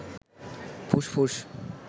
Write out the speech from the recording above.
ফুসফুস